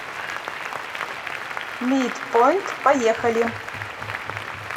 митпоинт поехали